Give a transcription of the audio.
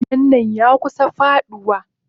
Gidan nan yakusa faduwa.